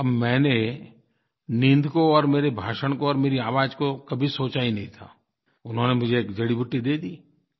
अब मैंने नींद को और मेरे भाषण को और मेरी आवाज़ को कभी सोचा ही नहीं था उन्होंने मुझे एक जड़ीबूटी दे दी